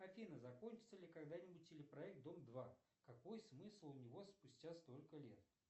афина закончится ли когда нибудь телепроект дом два какой смысл у него спустя столько лет